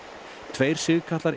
tveir